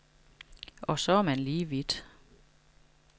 Og så er man lige vidt.